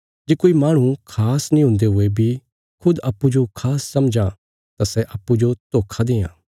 जे कोई माहणु खास नीं हुन्दे हुये बी खुद अप्पूँजो खास समझां तां सै अप्पूँजो धोखा देआं